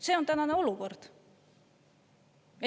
See on tänane olukord.